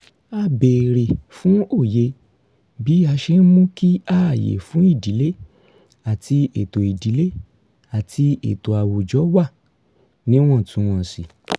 a béèrè fún òye bí a ṣe ń mú kí ààyè fún ìdílé àti ètò ìdílé àti ètò àwùjọwà wà níwọ̀ntúnwọ̀nsì